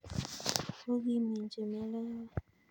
Ago kiminjin melewet.